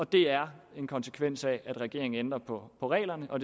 det er en konsekvens af at regeringen ændrer på reglerne og